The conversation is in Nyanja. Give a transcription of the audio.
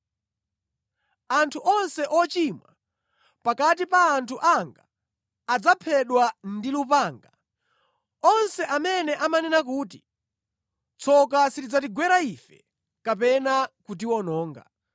Anthu onse ochimwa pakati pa anthu anga adzaphedwa ndi lupanga, onse amene amanena kuti, ‘Tsoka silidzatigwera ife kapena kutiwononga.’